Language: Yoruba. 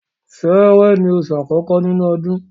Sẹ́rẹ́ ni oṣù àkọ́kọ́ ni inu ọdún